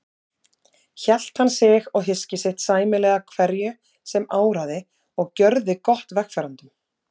Hélt hann sig og hyski sitt sæmilega hverju sem áraði og gjörði gott vegfarendum.